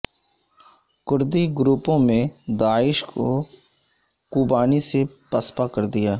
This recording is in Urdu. کردی گروپوں نے داعش کو کوبانی سے پسپا کر دیا